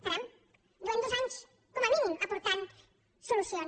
caram fa dos anys com a mínim que aportem solucions